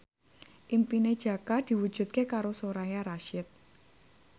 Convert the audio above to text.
impine Jaka diwujudke karo Soraya Rasyid